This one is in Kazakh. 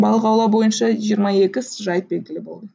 балық аулау бойынша жиырма екі жайт белгілі болды